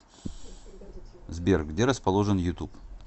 сбер где расположен ютуб